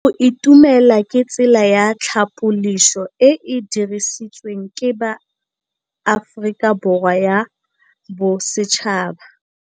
Go itumela ke tsela ya tlhapolisô e e dirisitsweng ke Aforika Borwa ya Bosetšhaba.